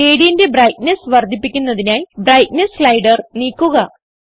gradientന്റെ brightness വർദ്ധിപ്പിക്കുന്നതിനായി brightness slider നീക്കുക